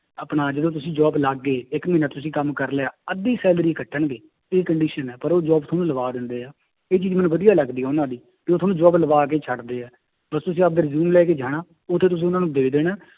ਆਪਣਾ ਜਦੋਂ ਤੁਸੀਂ job ਲੱਗ ਗਏ ਇੱਕ ਮਹੀਨਾ ਤੁਸੀਂ ਕੰਮ ਕਰ ਲਿਆ ਅੱਧੀ salary ਕੱਟਣਗੇ, ਇਹ condition ਹੈ ਪਰ ਉਹ job ਤੁਹਾਨੂੰ ਲਵਾ ਦਿੰਦੇ ਹੈ, ਇਹ ਚੀਜ਼ ਮੈਨੂੰ ਵਧੀਆ ਲੱਗਦੀ ਹੈ ਉਹਨਾਂ ਦੀ ਤੇ ਉਹ ਤੁਹਾਨੂੰ job ਲਵਾ ਕੇ ਛੱਡਦੇ ਹੈ, ਬਸ ਤੁਸੀਂ ਆਪਦੇ resume ਲੈ ਕੇ ਜਾਣਾ ਉੱਥੇ ਤੁਸੀਂ ਉਹਨਾਂ ਨੂੰ ਦੇ ਦੇਣਾ